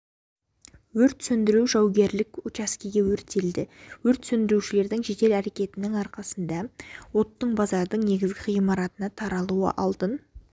өртті сөндіру жаугерлік учаскеге өрістетілді өрт сөндірушілердің жедел әрекеттерінің арқасында оттың базардың негізгі ғимаратына таралуының алдын